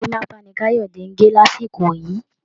Gorímápá ni Kayode ń gẹ̀ lásìkò yìí